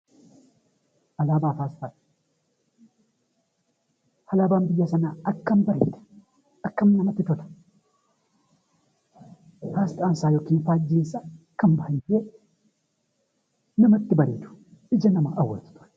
Alaabaa fi Asxaa Alaabaan biyya sanaa akkam bareeda! Akkam namatti tola! Asxaan isaa (faajjiin isaa) akkam baay'ee namatti bareedu! Ija nama hawwatu ture.